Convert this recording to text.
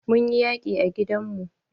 Mun yi yaƙi a gidan mu.